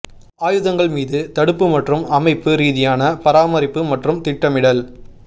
ஆயுதங்கள் மீது தடுப்பு மற்றும் அமைப்பு ரீதியான பராமரிப்பு மற்றும் திட்டமிடல்